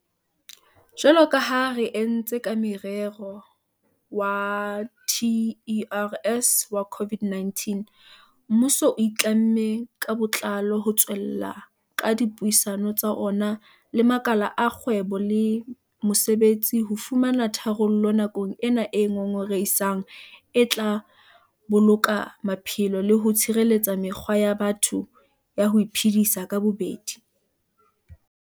Jwalo ka ha re entse ka morero wa TERS wa COVID-19, mmuso o itlamme ka botlalo ho tswella ka dipuisano tsa ona le makala a kgwebo le mosebetsi ho fumana tharollo nakong ena e ngongorehisang e tla boloka maphelo le ho tshireletsa mekgwa ya batho ya ho iphedisa ka bobedi.